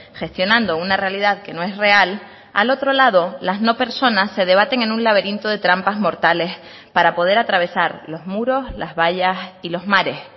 gestionando una realidad que no es real al otro lado las no personas se debaten en un laberinto de trampas mortales para poder atravesar los muros las vallas y los mares